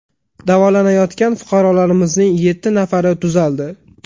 Davolanayotgan fuqarolarimizning yetti nafari tuzaldi.